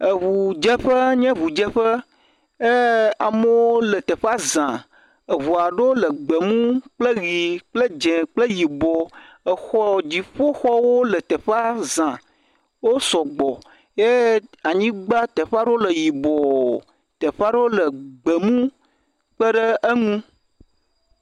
eʋu dzeƒe nye ʋu dzeƒe ye amewo le teƒa zã eʋuaɖo le gbemu kple ɣi kple dzĩ kple yibɔ exɔ dziƒoxɔwo le teƒa zã wó sɔgbɔ ye anyigbã teƒaɖewo le yibɔ teƒaɖewo le gbemu kpeɖeŋu